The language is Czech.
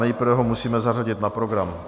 Nejprve ho musíme zařadit na program.